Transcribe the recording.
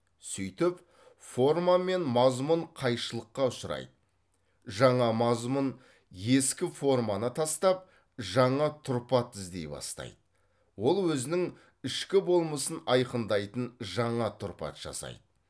сөйтіп форма мен мазмұн қайшылыққа ұшырайды жаңа мазмұн ескі форманы тастап жаңа тұрпат іздей бастайды ол өзінің ішкі болмысын айқындайтын жаңа тұрпат жасайды